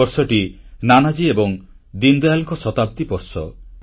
ଏ ବର୍ଷଟି ନାନାଜୀ ଏବଂ ଦୀନଦୟାଲଙ୍କର ଶତାବ୍ଦୀ ବର୍ଷ